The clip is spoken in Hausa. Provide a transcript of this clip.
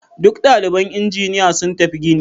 Duk daliban injiniya sun tafi gini.